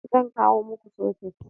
Zan kawo muku soket